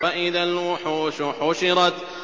وَإِذَا الْوُحُوشُ حُشِرَتْ